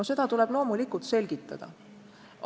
No seda tuleb loomulikult selgitada.